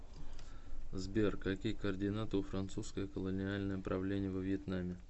сбер какие координаты у французское колониальное правление во вьетнаме